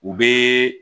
U bɛ